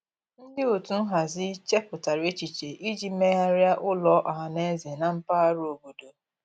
Ndị otu nhazi chepụtara echiche iji megharịa ụlọ ọhaneze na mpaghara obodo.